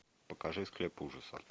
покажи склеп ужаса